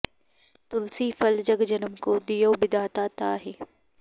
तुलसी फल जग जनम को दियो बिधाता ताहि